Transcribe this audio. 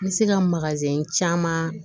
N bɛ se ka caman